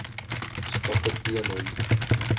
stappe teen hom